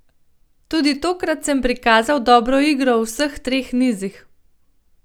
Tudi tokrat sem prikazal dobro igro v vseh treh nizih.